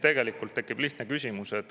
Tekib lihtne küsimus.